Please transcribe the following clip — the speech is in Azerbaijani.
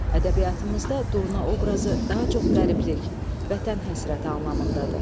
Ədəbiyyatımızda durna obrazı daha çox qəriblik, vətən həsrəti anlamındadır.